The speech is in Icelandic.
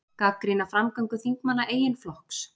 Gagnrýna framgöngu þingmanna eigin flokks